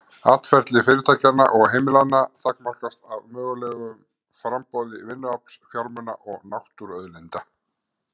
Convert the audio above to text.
Atferli fyrirtækjanna og heimilanna takmarkast af mögulegu framboði vinnuafls, fjármuna og náttúruauðlinda.